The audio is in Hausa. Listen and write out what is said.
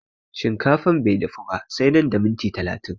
Shinkafan bai dafu ba sai nan da miniti talatin